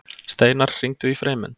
Steinar, hringdu í Freymund.